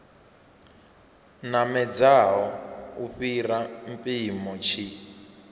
namedzaho u fhira mpimo tshi